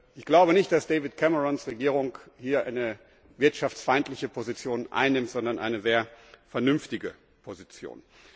Ich glaube nicht, dass David Camerons Regierung hier eine wirtschaftsfeindliche Position einnimmt, sondern eine sehr vernünftige Position.